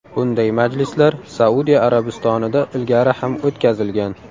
Bunday majlislar Saudiya Arabistonida ilgari ham o‘tkazilgan.